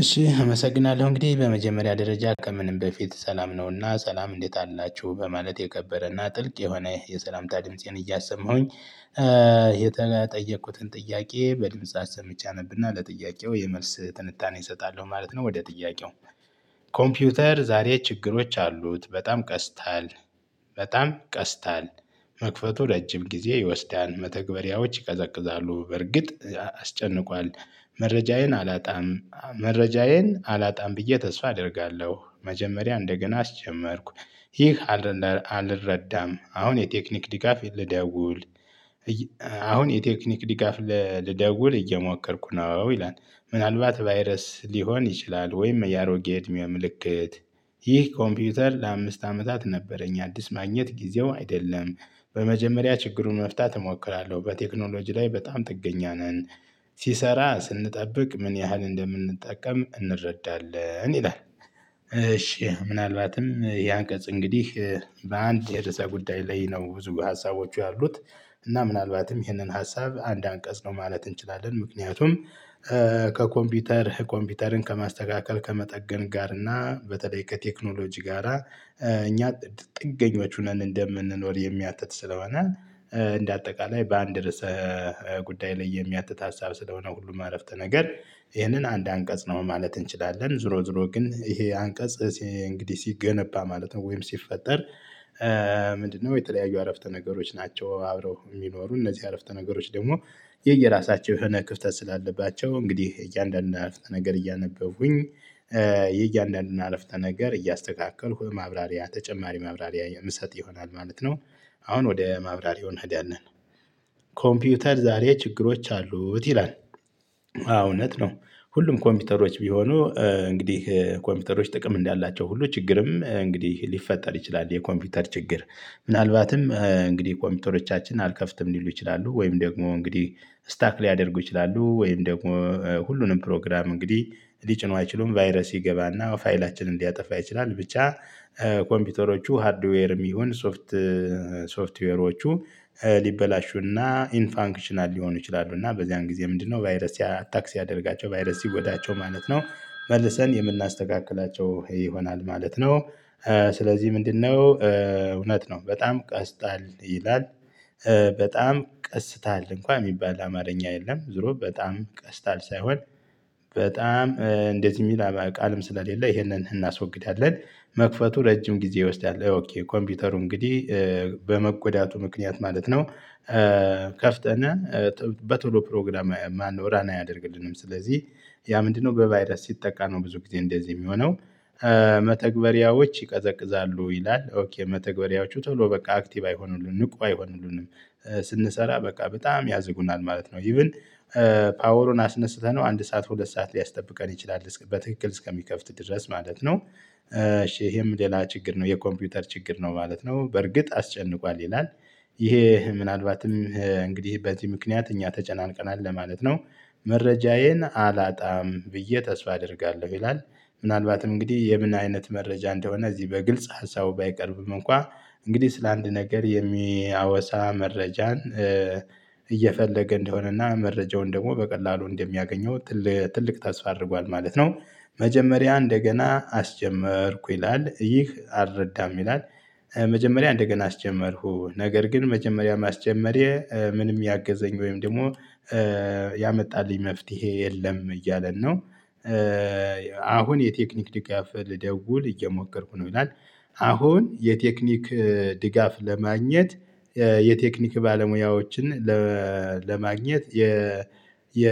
እሺ አመሰግናለሁ እንግዲህ በመጀመሪያ ደረጃ ከምንም በፊት ሰላም ነውና ሰላም እንዴት አላችሁ በማለት የከበረና ጥልቅ የሆነ የሰላምታ ድምፄን እያሰማሁኝ። የተጠየኩትን ጥያቄ በድምጽ አሰምቼ አነብና ለጥያቄው የመልስ ትንታኔ እሰጣለሁ ማለት ነው። ወደ ጥያቄው ኮምፒውተር ዛሬ ችግሮች አሉት በጣም ቀስታል። በጣም ቀስታል። መክፈቱ ረጅም ጊዜ ይወስዳል መተግበሪያዎች ይቀዘቅዛሉ። በርግጥ አስጨንቋል። መረጃዬን አላጣም መረጃዬን አላጣም ብዬ ተስፋ አደርጋለሁ። መጀመሪያ እንደገና አስጀመርኩ። ይህ አልረዳም። አሁን የቴክኒክ ድጋፍ ልደውል። አሁን የቴክኒክ ድጋፍ ልደውል እየሞከርኩ ነው። ይላል ምናልባት ቫይረስ ሊሆን ይችላል። ወይም የአሮጌ እድሜ ምልክት። ይህ ኮምፒውተር ለአምስት አመታት ነበረኝ አዲስ ማግኘት ጊዜው አይደለም። በመጀመሪያ ችግሩን መፍታት እሞክራለሁ። በቴክኖሎጂ ላይ በጣም ጥገኛ ነን። ሲሰራ ስንጠብቅ ምን ያህል እንደምንጠቀም እንረዳለን ይላል። እሺ ምናልባትም ይህ አንቀጽ እንግዲህ በአንድ የርዕሰ ጉዳይ ላይ ነው ብዙ ሀሳቦቹ ያሉት። እና ምናልባትም ይህንን ሀሳብ አንድ አንቀጽ ነው ማለት እንችላለን። ምክንያቱም ከኮምፒውተር ኮምፒውተርን ከማስተካከል ከመጠገን ጋር እና በተለይ ከቴክኖሎጂ ጋራ እኛ ጥገኞች ሁነን እንደምንኖር የሚያትት ስለሆነ። እንደ አጠቃላይ በአንድ ርዕስ ጉዳይ ላይ የሚያትት ሀሳብ ስለሆነ ሁሉም አረፍተ ነገር ይህንን አንድ አንቀጽ ነው ማለት እንችላለን። ዞሮ ዞሮ ግን ይሄ አንቀጽ እንግዲህ ሲገነባ ማለት ነው። ወይም ሲፈጠር ምንድነው? የተለያዩ አረፍተ ነገሮች ናቸው አብረው የሚኖሩ እነዚህ አረፍተ ነገሮች ደግሞ። የየራሳቸው የሆነ ክፍተት ስላለባቸው እንግዲህ እያንዳንዱን አረፍተ ነገር እያነበብኩኝ የእያንዳንዱን አረፍተ ነገር እያስተካከልኩ ማብራሪያ ተጨማሪ ማብራሪያ የምሰጥ ይሆናል ማለት ነው። አሁን ወደ ማብራሪያው እንሄዳለን። ኮምፒውተር ዛሬ ችግሮች አሉት ይላል። አው እውነት ነው። ሁሉም ኮምፒውተሮች ቢሆኑ እንግዲህ ኮምፒውተሮች ጥቅም እንዳላቸው ሁሉ ችግርም እንግዲህ ሊፈጠር ይችላል። የኮምፒውተር ችግር ምናልባትም እንግዲህ ኮምፒውተሮቻችን አልከፍትም ሊሉ ይችላሉ ወይም ደግሞ እንግዲህ ስታክ ሊያደርጉ ይችላሉ። ወይም ደግሞ ሁሉንም ፕሮግራም እንግዲህ ሊጭኑ አይችሉም። ቫይረስ ይገባና ፋይላችንን ሊያጠፋ ይችላል ብቻ። ኮምፒውተሮቹ ሃርድዌርም ይሁን ሶፍት ሶፍትዌሮቹ ሊበላሹና ኢንፋንክሽናል ሊሆኑ ይችላሉ። እና በዚያን ጊዜ ምንድነው? ቫይረስ አታክ ሲያደረጋቸው ቫይረስ ሲጎዳቸው ማለት ነው መልሰን የምናስተካክላቸው ይሆናል ማለት ነው። ስለዚህ ምንድነው? እውነት ነው በጣም ቀስታል ይላል። በጣም ቀስታል እንኳን የሚባል አማርኛ የለም ዞሮ በጣም ቀስታል ሳይሆን። በጣም እንደዚህ የሚል ቃልም ስለሌለ ይሄንን እናስወግዳለን። መክፈቱ ረጅም ጊዜ ይወስዳል። ኦኬ ኮምፒውተሩ እንግዲህ በመጎዳቱ ምክንያት ማለት ነው። ከፍተናል በቶሎ ፕሮግራም ማነው ራን አያደርግልንም ስለዚህ። ያ ምንድነው? በቫይረስ ሲጠቃ ነው ብዙ ጊዜ እንደዚህ የሚሆነው። መተግበሪያዎች ይቀዘቅዛሉ ይላል ኦኬ መተግበሪያዎቹ ቶሎ በቃ አክቲቭ አይሆኑልንም ንቁ አይሆኑልንም። ስንሰራ በቃ በጣም ያዘጉናል ማለት ነው። ኢቭን ፓወሩን አስነስተነው አንድ ሰዓት ሁለት ሰዓት ሊያስጠብቀን ይችላል በትክክል እስከሚከፍት ድረስ ማለት ነው። ይሄም ሌላ ችግር ነው የኮምፒውተር ችግር ነው ማለት ነው። በርግጥ አስጨንቋል ይላል። ይሄ ምናልባትም እንግዲህ በዚህ ምክንያት እኛ ተጨናንቀናል ለማለት ነው። መረጃዬን አላጣም ብዬ ተስፋ አደርጋለሁ ይላል። ምናልባትም እንግዲህ የምን አይነት መረጃ እንደሆነ እዚህ በግልጽ ሀሳቡ ባይቀርብም እንኳን እንግዲህ ስለአንድ ነገር የሚያወሳ መረጃን እየፈለገ እንደሆነና መረጃውን ደግሞ በቀላሉ እንደሚያገኘው ትለ ትልቅ ተስፋ አድርጓል ማለት ነው። መጀመሪያ እንደገና አስጀመርኩ ይላል ይህ አልረዳም ይላል። መጀመሪያ እንደገና አስጀመርኩ ነገር ግን መጀመሪያ ማስጀመሬ ምንም ያገዘኝ ወይም ደግሞ። ያመጣልኝ መፍትሄ የለም እያለን ነው። አሁን የቴክኒክ ድጋፍ ልደውል እየሞከርኩ ነው ይላል። አሁን የቴክኒክ ድጋፍ ለማግኘት የቴክኒክ ባለሙያዎችን ለማግኘት የ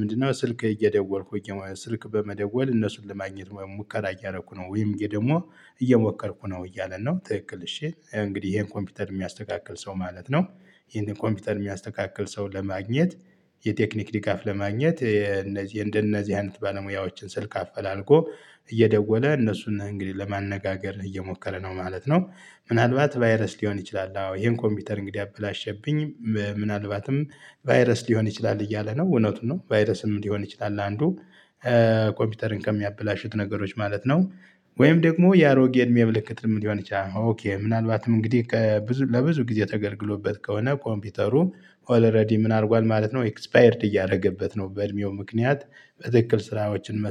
ምንድነው? ስልክ እየደወልኩኝ ስልክ በመደወል እነሱን ለማግኘት ሙከራ እያደረኩ ነው ወይም ደግሞ እየሞከርኩ ነው እያለ ነው። ትክክል እሺ እንግዲህ ይሄን ኮምፒውተር የሚያስተካክል ሰው ማለት ነው። ይሄንን ኮምፒውተር የሚያስተካክል ሰው ለማግኘት የቴክኒክ ድጋፍ ለማግኘት የእነዚህ እንደነዚህ አይነት ባለሙያዎችን ስልክ አፈላልጎ እየደወለ እነሱን እንግዲህ ለማነጋገር እየሞከረ ነው ማለት ነው። ምናልባት ቫይረስ ሊሆን ይችላል አዎ ይሄን ኮምፒውተር እንግዲህ ያበላሸብኝ ምናልባትም ቫይረስ ሊሆን ይችላል እያለ ነው እውነቱን ነው ቫይረስም ሊሆን ይችላል አንዱ ኮምፒውተርን ከሚያበላሹት ነገሮች ማለት ነው። ወይም ደግሞ የአሮጌ እድሜ ምልክት ሊሆን ይችላል። ኦኬ ምናልባትም እንግዲህ ከብዙ ለብዙ ጊዜ ተገልግሎበት ከሆነ ኮምፒውተሩ ኦልሬዲ ምን አድርጓል ማለት ነው። ኤክስፓየርድ እያደረገበት ነው በእድሜው ምክንያት። በትክክል ስራዎችን መስ